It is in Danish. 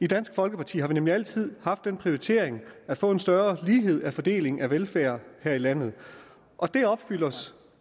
i dansk folkeparti har vi nemlig altid haft den prioritering at få en større lighed til fordeling af velfærd her i landet og